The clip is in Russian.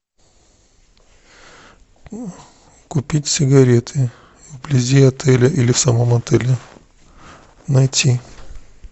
купить сигареты вблизи отеля или в самом отеле найти